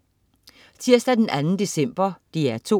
Tirsdag den 2. december - DR2: